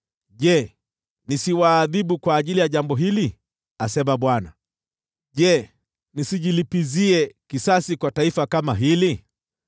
Je, nisiwaadhibu kwa ajili ya jambo hili?” asema Bwana . “Je, nisijilipizie kisasi kwa taifa kama hili?”